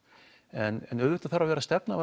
en auðvitað þarf að vera stefna